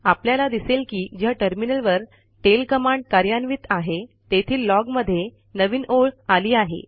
आपल्याला दिसेल की ज्या टर्मिनलवर टेल कमांड कार्यान्वित आहे तेथील लॉग मध्ये नवीन ओळ आली आहे